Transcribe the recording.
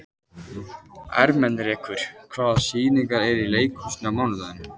Ermenrekur, hvaða sýningar eru í leikhúsinu á mánudaginn?